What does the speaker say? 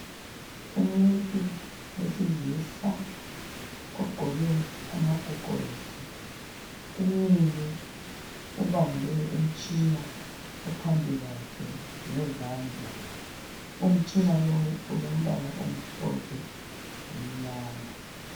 Umuntu wesilisa ogqoke amagogorosi umile ubambe umtshina ophambi kwakhe ngezandla. Umtshina lowu olombala omhlophe lomnyama